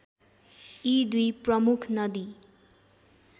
यी दुई प्रमुख नदी